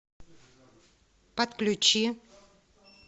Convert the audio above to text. подключи